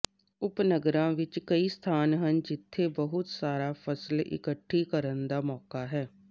ਉਪਨਗਰਾਂ ਵਿੱਚ ਕਈ ਸਥਾਨ ਹਨ ਜਿੱਥੇ ਬਹੁਤ ਸਾਰਾ ਫ਼ਸਲ ਇਕੱਠੀ ਕਰਨ ਦਾ ਮੌਕਾ ਹੈ